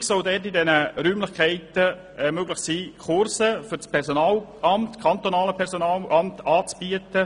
Künftig soll es möglich sein, in diesen Räumlichkeiten Kurse für das kantonale Personalamt anzubieten.